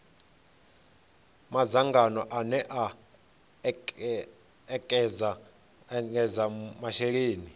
madzangano ane a ekedza masheleni